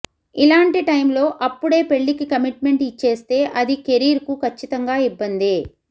ఇలాంటి టైంలో అప్పుడే పెళ్లికి కమిట్మెంట్ ఇచ్చేస్తే అది కెరీర్కు కచ్చితంగా ఇబ్బందే